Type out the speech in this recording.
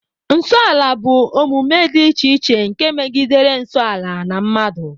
Nso ala bụ omume dị iche iche nke megidere nsọ ala na mmadụ